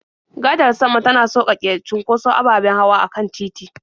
Gadar sama tana sauƙaƙe cunkoson ababen hawa a kan titi.